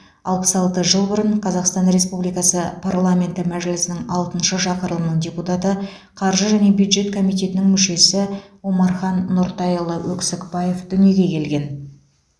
алпыс алты жыл бұрын қазақстан республикасы парламенті мәжілісінің алтыншы шақырылымының депутаты қаржы және бюджет комитетінің мүшесі омархан нұртайұлы өксікбаев дүниеге келген